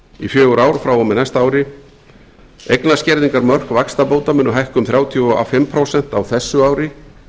í fjögur ár frá og með næsta ári eignaskerðingarmörk vaxtabóta munu hækka um þrjátíu og fimm prósent á þessu ári